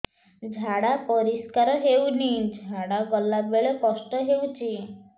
ଝାଡା ପରିସ୍କାର ହେଉନି ଝାଡ଼ା ଗଲା ବେଳେ କଷ୍ଟ ହେଉଚି